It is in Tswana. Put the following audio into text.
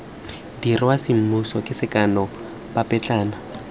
dirwa semmuso ke sekano papetlana